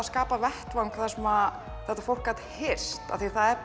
skapa vettvang þar sem þetta fólk gat hist af því að það er